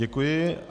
Děkuji.